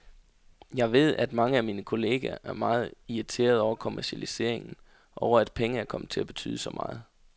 Jeg ved at mange af mine kolleger er meget irriterede over kommercialiseringen, over at penge er kommet til at betyde så meget.